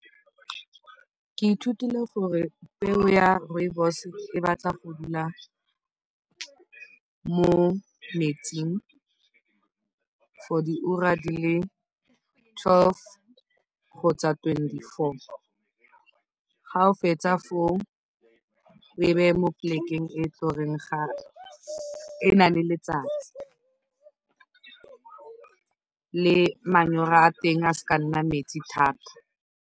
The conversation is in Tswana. Ke ithutile gore peo ya rooibos e batla go dula mo metsing for diura di le twelve kgotsa twenty-four, fa o fetsa foo o e beye mo polekeng e e nang le letsatsi, le manyora a teng a se ka a nna metsi thata.